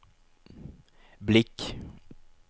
blick